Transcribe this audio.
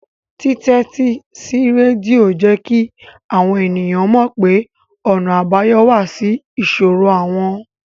Títẹ́tí sí rédíò jẹ́ kí àwọn ènìyàn mọ̀ pé ọ̀nà àbáyọ wà sí ìṣòro àwọn